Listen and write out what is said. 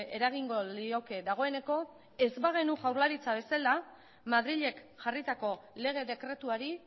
eragingo lioke dagoeneko ez bagenu jaurlaritza bezala madrilek jarritako lege dekretuari